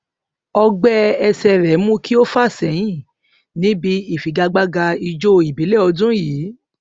ọgbẹ ẹsẹ rẹ mú kí ó fà sẹyìn níbi ìfigagbága ijó ìbílẹ ọdún yìí